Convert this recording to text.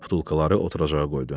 Butulkaları oturacağı qoydu.